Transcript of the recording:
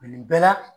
Nin bɛɛ la